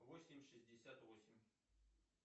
восемь шестьдесят восемь